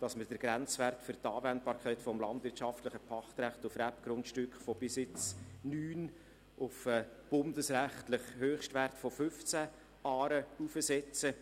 Wir setzen den Grenzwert vom landwirtschaftlichen Pachtrecht für Rebgrundstücke von bisher 9 auf den bundesrechtlichen Höchstwert von 15 Aren heraufsetzen.